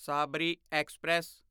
Sabri express